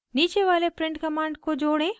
नीचे वाले print command को जोड़ें